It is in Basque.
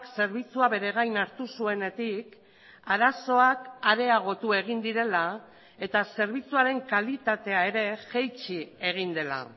zerbitzua bere gain hartu zuenetik arazoak areagotu egin direla eta zerbitzuaren kalitatea ere jaitsi egin dela